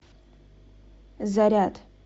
заряд